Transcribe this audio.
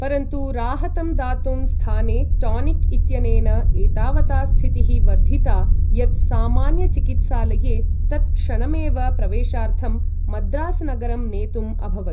परन्तु राहतं दातुं स्थाने टॉनिक इत्यनेन एतावता स्थितिः वर्धिता यत् सामान्यचिकित्सालये तत्क्षणमेव प्रवेशार्थं मद्रासनगरं नेतुम् अभवत्